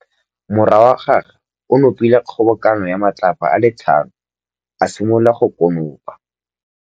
Morwa wa gagwe o nopile kgobokanô ya matlapa a le tlhano, a simolola go konopa.